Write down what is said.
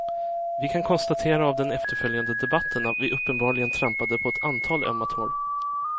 Vi kan konstatera av den efterföljande debatten att vi uppenbarligen trampade på ett antal ömma tår.